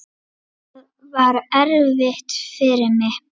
Það var erfitt fyrir mig.